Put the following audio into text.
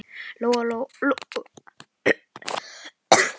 Lóa-Lóa var ekki viss um hvort hún væri sofandi.